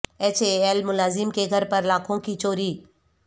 H A L ملازم کے گھر پر لاکھوں کی چوری